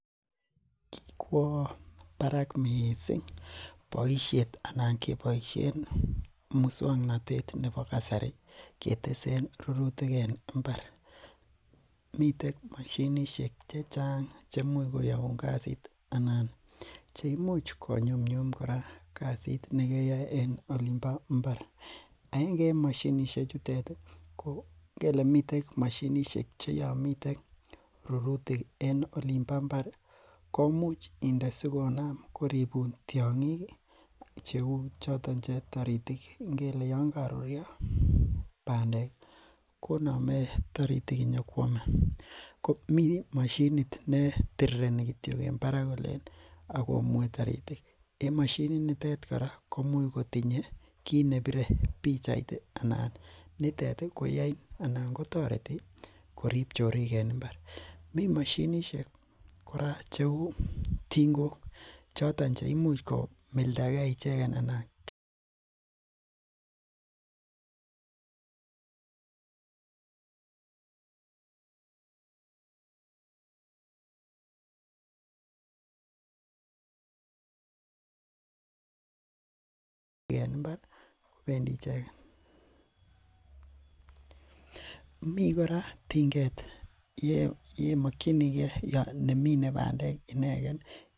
Kikwaa Barak missing bosiet anan kebaisheen musangnatet nebo kasari keteseen rurutiik en mbaar miten mashinisheek che chaang cheimuuch koyaguun kasiit anan imuuch kora ko nyumnyum kasiit nekeyaen en ilin bo mbar eng mashinisheek chuteet ii kele miten mashinisheek che yaan miten rurutiik eng olin bo mbar komuuch indee sikonam koripuun tiangiik che uu chotoon taritiik ngele yaan karuryaa pandeek koname taritiik inyo koyame ko Mii mashiniit ne tirirenii en barak kolen akomue taritiik en mashiniit niteet kora komuuch kotinyei kit nebire pichait nitoon koyain anan kotaretii koriib choriik en mbaar Mii mashinisheek kora che uu tingook chotoon cheimuuch komoldagei ichegeet anan.